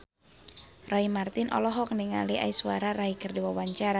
Roy Marten olohok ningali Aishwarya Rai keur diwawancara